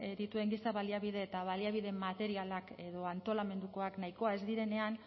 dituen giza baliabide eta baliabide materialak edo antolamendukoak nahikoa ez direnean